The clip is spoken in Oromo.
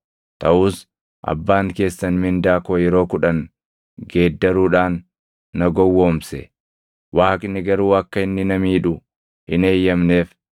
taʼus abbaan keessan mindaa koo yeroo kudhan geeddaruudhaan na gowwoomse. Waaqni garuu akka inni na miidhu hin eeyyamneef.